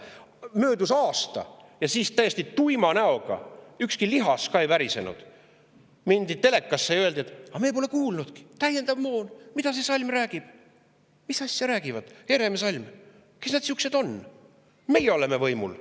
Möödus aasta ja siis täiesti tuima näoga, ükski lihas ka ei värisenud, mindi telekasse ja öeldi, et aga me pole kuulnudki täiendavast moonast, et mida see Salm räägib, mis asja räägivad Herem ja Salm, kes nad sihukesed on, meie oleme võimul.